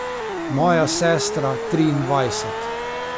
Moja sestra triindvajset.